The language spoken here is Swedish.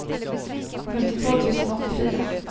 femtiotvå tusen åttiofyra